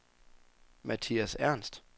Mathias Ernst